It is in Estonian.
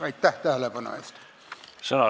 Aitäh tähelepanu eest!